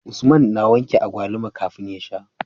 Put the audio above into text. Usman na wanke agwaluma kafin ya sha